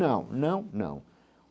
Não, não, não.